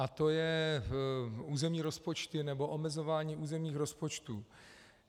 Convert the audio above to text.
A to je - územní rozpočty, nebo omezování územních rozpočtů.